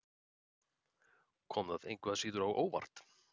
Kom það engu að síður á óvart?